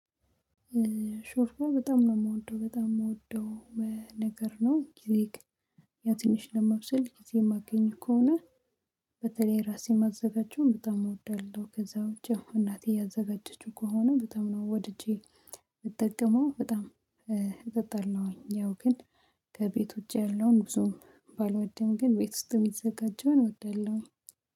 ሾርባ በጣም ነው የምወደው በጣም የምወደው ነገር ነው። ጊዜ ትንሽ ነው የማብሰል ጊዜ ማገኝ ከሆነ በተለይ ለራሴን ማዘጋጀውን በጣም እወዳለሁ። ከዛ ውጪ እናቴ ያዘጋጀችው ከሆነ በጣም ነው ወድጄ የምጠቀመው በጣም እጠጣለሁኝ። ያው ግን ከቤቱ ውጭ ያለውን ብዙም ባልወደም ግን ቤት ውስጥ የሚዘጋጀውን እወዳለሁ